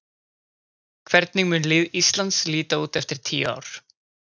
Hvernig mun lið Íslands líta út eftir tíu ár?